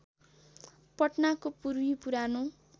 पटनाको पूर्वी पुरानो